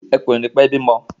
Ẹkùn yẹn ò nii pẹ bímọ